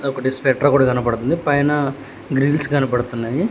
ఒకటి స్వెట్రూ కనబడుతుంది పైన గ్రిల్స్ కనబడుతున్నాయి.